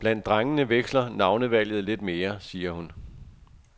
Blandt drengene veksler navnevalget lidt mere, siger hun.